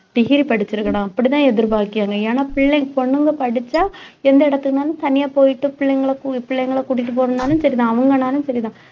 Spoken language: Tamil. degree படிச்சிருக்கணும் அப்படித்தான் எதிர்பார்க்கிறாங்க ஏன்னா பிள்ளைங்க பொண்ணுங்க படிச்சா எந்த இடத்துக்குனாலும் தனியா போயிட்டு பிள்ளைங்களை கூ~ பிள்ளைங்களை கூட்டிட்டு போகணும்னாலும் சரிதான் அவங்கனாலும் சரிதான்